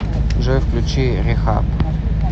джой включи рехаб